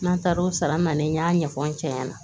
N'an taara o sara nalen n y'a ɲɛfɔ n cɛ ɲɛna